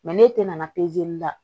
n'e tɛ nana